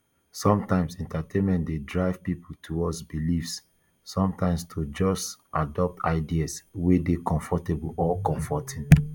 sometimes entertainment dey drive pipo towards beliefs sometimes to just adopt ideas wey dey comfortable or comforting